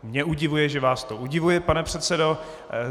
Mě udivuje, že vás to udivuje, pane předsedo.